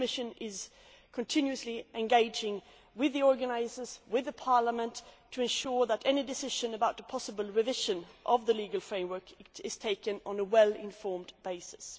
The Commission is continuously engaging with the organisers and with Parliament to ensure that any decision about a possible revision of the legal framework is taken on a well informed basis.